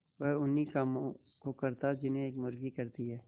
वह उन्ही कामों को करता जिन्हें एक मुर्गी करती है